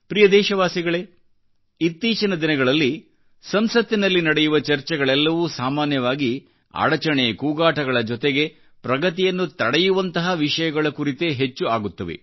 ಪ್ರಿಯ ದೇಶವಾಸಿಗಳೆಇತ್ತೀಚಿನ ದಿನಗಳಲ್ಲಿ ಸಂಸತ್ತಿನಲ್ಲಿ ನಡೆಯುವ ಚರ್ಚೆಗಳೆಲ್ಲವೂ ಸಾಮಾನ್ಯವಾಗಿ ಅಡಚಣೆ ಕೂಗಾಟಗಳ ಜೊತೆಗೆಪ್ರಗತಿಯನ್ನು ತಡೆಯುವಂತಹ ವಿಷಯಗಳ ಕುರಿತೇ ಹೆಚ್ಚು ಆಗುತ್ತವೆ